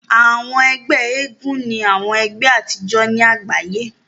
Àwọn ẹgbẹ́ eégún ni àwọn ẹgbé àtijọ́ ni àgbáyé.